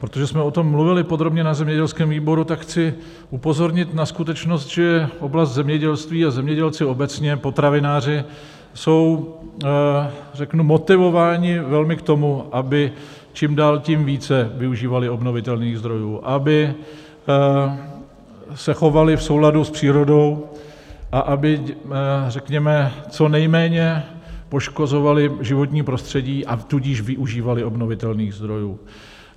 Protože jsme o tom mluvili podrobně na zemědělském výboru, tak chci upozornit na skutečnost, že oblast zemědělství a zemědělci obecně, potravináři, jsou řeknu motivováni velmi k tomu, aby čím dál tím více využívali obnovitelných zdrojů, aby se chovali v souladu s přírodou a aby řekněme co nejméně poškozovali životní prostředí, a tudíž využívali obnovitelných zdrojů.